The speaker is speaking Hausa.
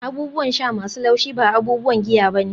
abubuwan sha masu laushi ba abubuwan giya ba ne